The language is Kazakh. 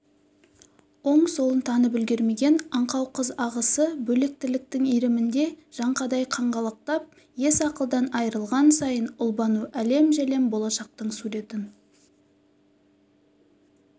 оң-солын танып үлгермеген аңқау қыз ағысы бөлек тірліктің иірімінде жаңқадай қаңғалақтап ес-ақылдан айрылған сайын ұлбану әлем-жәлем болашақтың суретін